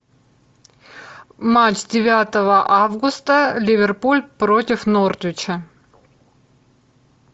матч девятого августа ливерпуль против нортвича